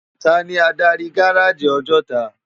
Táni ádári gáráji Òjòtá?